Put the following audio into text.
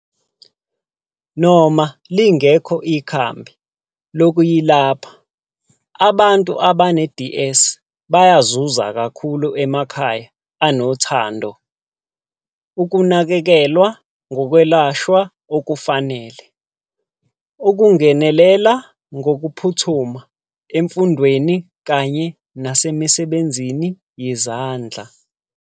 Noma lingekho ikhambi lokuyilapha, abantu abane-DS bayazuza kakhulu emakhaya anothando, ukunakekelwa ngokwelashwa okufanele, ukungenelela ngokuphuthuma, emfundweni kanye nasemisebenzini yezandla.